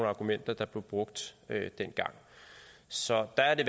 argumenter der blev brugt dengang så der er det